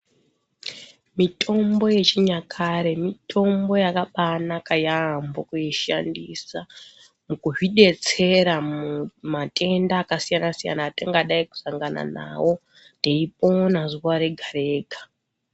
Mitombo yechinyakare mitombo yakabanaka yaambo kuishandisa mukuzvidetsera mumatenda yakasiyana- siyana atingadai kusangana nawo teipona zuwa rega -rega.